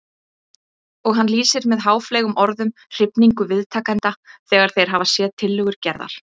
Og hann lýsir með háfleygum orðum hrifningu viðtakenda þegar þeir hafa séð tillögur Gerðar.